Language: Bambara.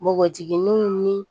Npogotigininw ni